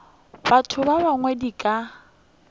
batho ba bangwe di ka